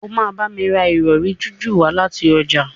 o ma bá mí rà Ìrọ̀rí jiju wá láti ọjà.